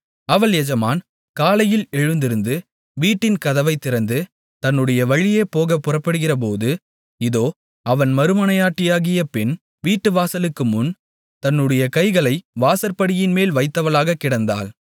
அவள் எஜமான் காலையில் எழுந்திருந்து வீட்டின் கதவைத் திறந்து தன்னுடைய வழியே போகப் புறப்படுகிறபோது இதோ அவன் மறுமனையாட்டியாகிய பெண் வீட்டுவாசலுக்கு முன் தன்னுடைய கைகளை வாசற்படியின்மேல் வைத்தவளாகக் கிடந்தாள்